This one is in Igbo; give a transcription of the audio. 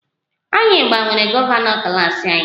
Anyị gbanwere gọvanọ klas anyị